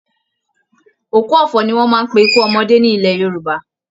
Òkú ọ̀fọ̀ ni wọ́n máa ń pe ikú ọmọdé ní ilẹ̀ Yorùbá